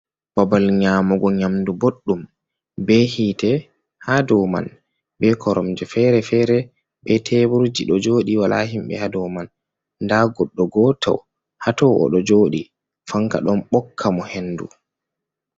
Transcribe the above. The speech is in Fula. Babal nyamugo nyamdu boɗdum be hite ha dow man, be koromje fere-fere be teburji do jodi, wala himɓe ha dow man, nda goɗɗo goto hato odo joɗi fanka ɗon ɓokka mo hendu.